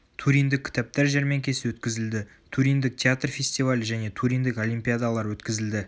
туриндік кітаптар жәрмеңкесі өткізілді туриндік театр фестивалі және туриндік олимпиадалар өткізілді